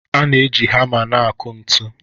A na-eji hama na-akụ ntu.